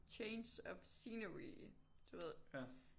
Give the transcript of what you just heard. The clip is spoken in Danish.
Change of scenery du ved